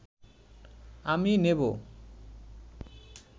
আমি নেবো